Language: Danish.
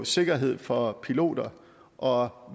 sikkerhed for piloter og